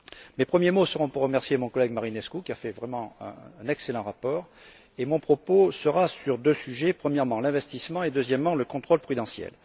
Mes premiers mots seront pour remercier mon collègueMarinescu, qui a vraiment fait un excellent rapport, et mon propos portera sur deux sujets premièrement, l'investissement et, deuxièmement, le contrôle prudentiel.